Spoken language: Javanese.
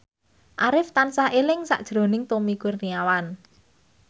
Arif tansah eling sakjroning Tommy Kurniawan